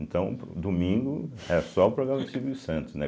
Então, domingo era só o programa do Silvio Santos, né?